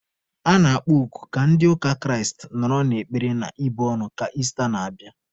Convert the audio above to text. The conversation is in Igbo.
A na-akpọ oku ka ndị ụka Kraịst nọrọ n'ekpere na ibu ọnụ ka Ista n'abịa.